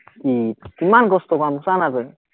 কি, ইমান কষ্টৰ কাম চানা তই